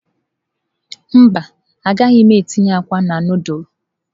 Mba, agaghị m etinye akwa na nudulu.